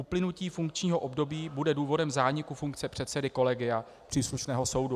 Uplynutí funkčního období bude důvodem zániku funkce předsedy kolegia příslušného soudu.